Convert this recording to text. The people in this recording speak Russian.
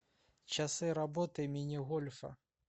часы работы мини гольфа